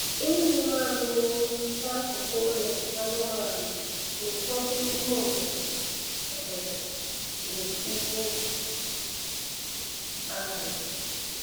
Ịnyụ mamịrị n'akụkụ ụlọ anụmanụ n'ụfọdụ ime obodo obodo bụ ihe arụ